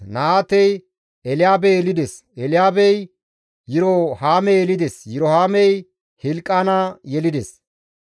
Nahaatey Elyaabe yelides; Elyaabey Yirohaame yelides; Yirohaamey Hilqaana yelides.